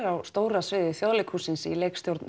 á stóra sviði Þjóðleikhússins í leikstjórn